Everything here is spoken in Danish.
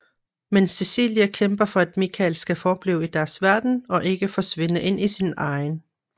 Men Cecilie kæmper for at Michael skal forblive i deres verden og ikke forsvinde ind i sin egen